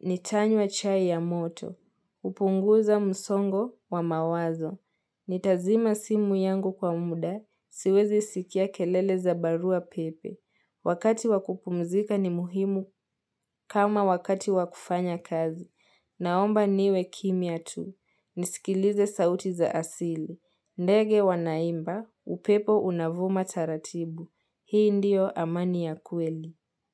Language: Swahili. nitanywa chai ya moto. Upunguza msongo wa mawazo. Nitazima simu yangu kwa muda. Siwezi sikia kelele za barua pepe. Wakati wakupumzika ni muhimu kama wakati wakufanya kazi. Naomba niwe kimya tu. Nisikilize sauti za asili. Ndege wanaimba, upepo unavuma taratibu. Hii ndiyo amani ya kweli.